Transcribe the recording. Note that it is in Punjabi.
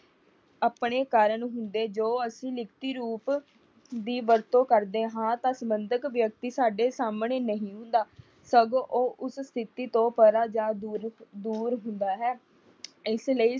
ਆਪਣੇ ਕਾਰਨ ਜੋ ਹੁੰਦੇ ਜੋ ਅਸੀ ਲਿਖਤੀ ਰੂਪ ਦੀ ਵਰਤੋਂ ਕਰਦੇ ਹਾਂ ਤਾਂ ਸਬੰਧਤ ਵਿਅਕਤੀ ਸਾਡੇ ਸਾਹਮਣੇ ਨਹੀ ਹੁੰਦਾ, ਸਗੋਂ ਉਹ ਉਸ ਸਥਿਤੀ ਤੋਂ ਪਰਾ ਜਾ ਦੂਰ ਦੂਰ ਹੁੰਦਾ ਹੈ। ਇਸ ਲਈ